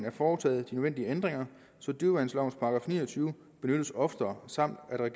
at foretage de nødvendige ændringer så dyreværnslovens § ni og tyve benyttes oftere samt at